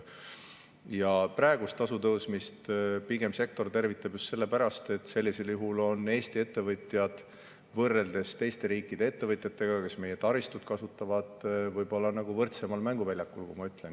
Ja praegust tasude tõstmist sektor tervitab just sellepärast, et sellisel juhul võivad Eesti ettevõtjad võrreldes teiste riikide ettevõtjatega, kes meie taristut kasutavad, olla nii-öelda võrdsemal mänguväljakul.